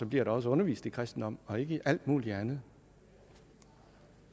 bliver der også undervist i kristendom og ikke i alt muligt andet